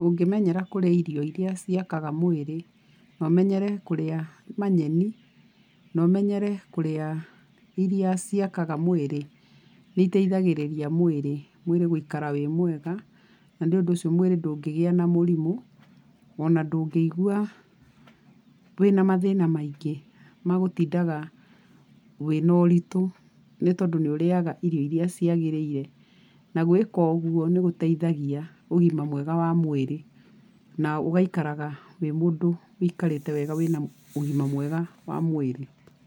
Ũngĩmenyera kũrĩa irio irĩa ciakaga mwĩrĩ, na ũmenyere kũrĩa manyeni, na ũmenyere kũrĩa irĩa ciakaga mwĩrĩ, nĩ iteithagĩrĩria mwĩrĩ, mwĩrĩ gũikara wĩ mwega, na nĩ ũndũ ũcio mwĩrĩ ndũngĩgĩa na mũrimũ, ona ndũngĩigua wĩna mathĩna maingĩ ma gũtindaga wĩna ũritũ nĩ tondũ nĩ ũrĩaga irio irĩa ciagĩrĩire. Na gwĩka ũguo nĩ gũteithagia ũgima mwega wa mwĩrĩ na ũgaikaraga wĩ mũndũ wĩikarĩte wega wĩna ũgima mwega wa mwĩrĩ.